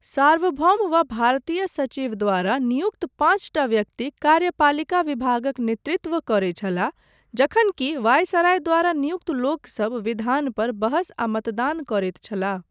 सार्वभौम वा भारतीय सचिव द्वारा नियुक्त पाँचटा व्यक्ति कार्यपालिका विभागक नेतृत्व करैत छलाह, जखन कि वाइसराय द्वारा नियुक्त लोकसब विधान पर बहस आ मतदान करैत छलाह।